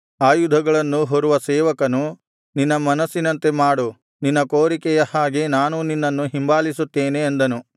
ಆಯುಧಗಳನ್ನು ಹೊರುವ ಸೇವಕನು ನಿನ್ನ ಮನಸ್ಸಿನಂತೆ ಮಾಡು ನಿನ್ನ ಕೋರಿಕೆಯ ಹಾಗೆ ನಾನೂ ನಿನ್ನನ್ನು ಹಿಂಬಾಲಿಸುತ್ತೇನೆ ಅಂದನು